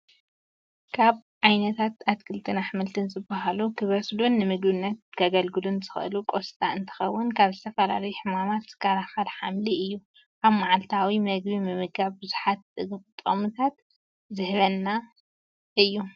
ካብ ዓይነታት ኣትክልትን ኣሕምልት ዝበሃሉ ከበሰሉ ንምግብነት ከገልግል ዝኽእል ቆስጣ እንትከውን፤ ካብ ዝተፈላለዩ ሕማማት ዝከላከል ሓምሊ እዩ። ኣብ ማዓልታዊ ምግቢ ምምጋብ ብዙሓት ጥግምታት ክህበና ይህእል እዩ።